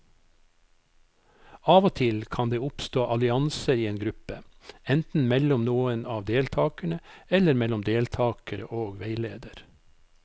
Av og til kan det oppstå allianser i en gruppe, enten mellom noen av deltakerne eller mellom deltakere og veileder.